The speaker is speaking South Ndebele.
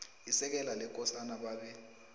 isekela lekosana babe